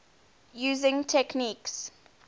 using techniques